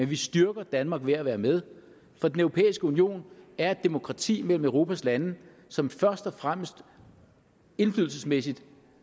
vi styrker danmark ved at være med for den europæiske union er et demokrati imellem europas lande som først og fremmest indflydelsesmæssigt